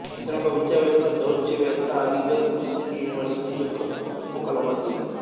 ఇతను ఒక విద్యావేత్త దౌత్యవేత్త అలీఘర్ ముస్లిం యూనివర్శిటి యొక్క ఉపకులపతి